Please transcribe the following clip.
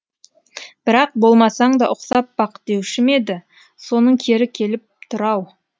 бірақ болмасаң да ұқсап бақ деуші ме еді соның кері келіп тұр ау